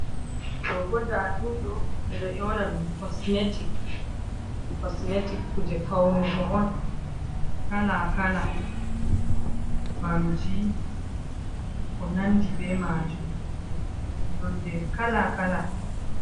Do ɓo ɗaɗumdo ɓe do yo"na dum kosmetic, kuje faunuko on kala kala, nyeɓɓamji ko nandi be majum nonɗe kala kala.